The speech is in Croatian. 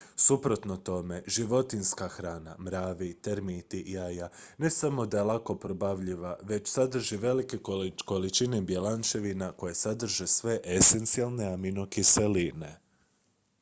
suprotno tome životinjska hrana mravi termiti jaja ne samo da je lako probavljiva već sadrži velike količine bjelančevina koje sadrže sve esencijalne aminokiseline